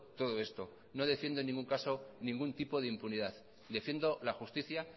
todo esto no defiendo en ningún caso ningún tipo de impunidad defiendo la justicia